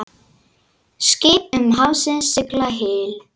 Skip um hafsins sigla hyl.